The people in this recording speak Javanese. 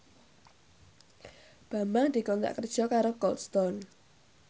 Bambang dikontrak kerja karo Cold Stone